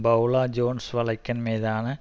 Paula Jones வழக்கின் மீதான